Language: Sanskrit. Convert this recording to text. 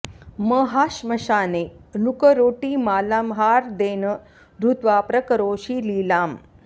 म हाश्मशाने नृकरोटिमालां हा र्देन धृत्वा प्रकरोषि लीलाम्